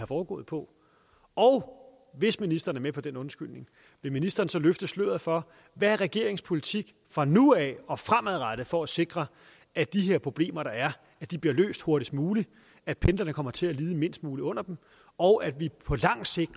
foregået på og hvis ministeren er med på den undskyldning vil ministeren så løfte sløret for hvad regeringens politik vil fra nu af og fremadrettet for at sikre at de her problemer der er bliver løst hurtigst muligt at pendlerne kommer til at lide mindst muligt under dem og at vi på lang sigt